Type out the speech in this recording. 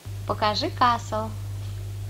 покажи касл